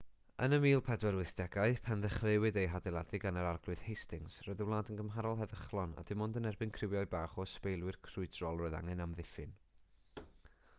yn y 1480au pan ddechreuwyd ei hadeiladu gan yr arglwydd hastings roedd y wlad yn gymharol heddychlon a dim ond yn erbyn criwiau bach o ysbeilwyr crwydrol roedd angen amddiffyn